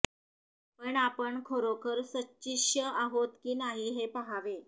पण आपण खरोखर सच्छिष्य आहोत की नाही हे पाहावे